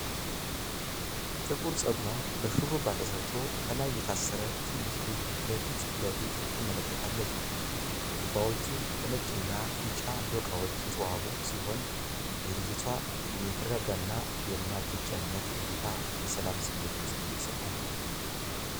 ጥቁር ፀጉሯ በሽሩባ ተሰርቶ ከላይ የታሰረ ትንሽ ልጅ በፊት ለፊቷ ትመለከታለች። ሽሩባዎቹ በነጭና ቢጫ ዶቃዎች የተዋቡ ሲሆኑ፣ የልጅቷ የተረጋጋና የማትጨነቅ እይታ የሰላም ስሜት ይሰጣል።